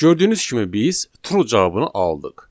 Gördüyünüz kimi biz true cavabını aldıq.